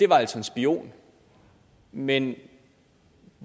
var en spion men